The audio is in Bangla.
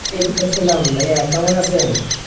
অলাইকুম আসসালাম ভাইয়া কেমন আছেন?